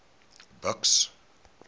buks